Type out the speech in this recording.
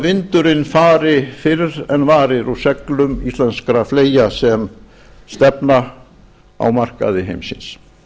vindurinn fari fyrr en varir úr seglum íslenskra fleyja sem stefna á markaði heimsins